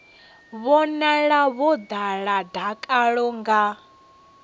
vhonala vho ḓala dakalo vha